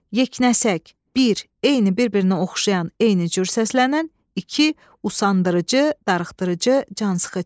Yeknəsək, bir, eyni, bir-birinə oxşayan, eyni cür səslənən, iki, usandırıcı, darıxdırıcı, cansıxıcı.